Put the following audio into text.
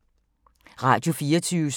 Radio24syv